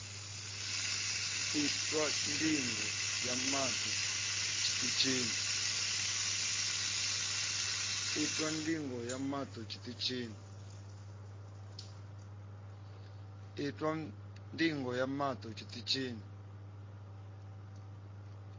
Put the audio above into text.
itwa ndigo ya maṱo tshiṱitshini